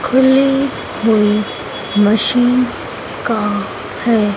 खुली हुई मशीन का है।